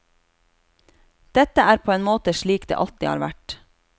Dette er på en måte slik det alltid har vært.